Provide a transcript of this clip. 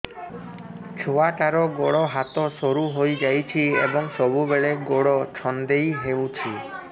ଛୁଆଟାର ଗୋଡ଼ ହାତ ସରୁ ହୋଇଯାଇଛି ଏବଂ ସବୁବେଳେ ଗୋଡ଼ ଛଂଦେଇ ହେଉଛି